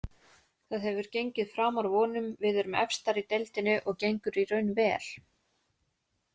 Það hefur gengið framar vonum, við erum efstar í deildinni og gengur í raun vel.